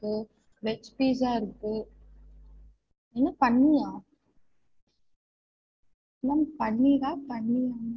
ஒ Veg pizza இருக்கு என்ன பண்ணியா? ma'am பன்னீரா பண்ணியா?